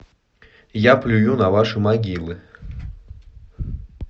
я плюю на ваши могилы